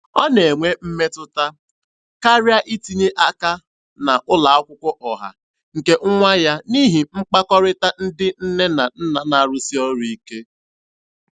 Ọ na-enwe mmetụta karịa itinye aka na ụlọ akwụkwọ ọha nke nwa ya n'ihi mkpakọrịta ndị nne na nna na-arụsi ọrụ ike.